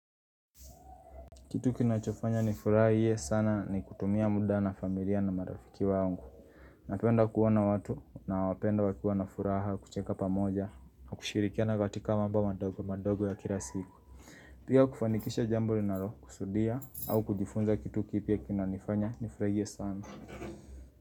Kitu kinachofanya nifurahie sana ni kutumia muda na familia na marafiki wangu. Napenda kuona watu naowapenda wakiwa na furaha kucheka pamoja na kushirikiana katika mambo madogo madogo ya kila siku. Pia kufanikisha jambo linalo kusudia au kujifunza kitu kipya kinanifanya nifurahie sana.